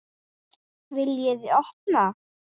VILJIÐI OPNA!